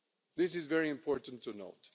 This is very important to know.